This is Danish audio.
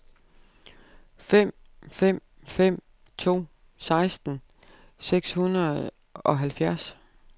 fem fem fem to seksten seks hundrede og halvfjerds